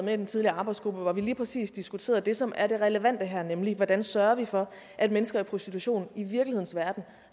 med i den tidligere arbejdsgruppe hvor vi lige præcis diskuterede det som er det relevante her nemlig hvordan sørger vi for at mennesker i prostitution i virkelighedens verden